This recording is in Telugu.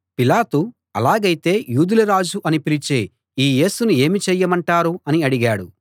పిలాతు అలాగైతే యూదుల రాజు అని పిలిచే ఈ యేసును ఏమి చేయమంటారు అని అడిగాడు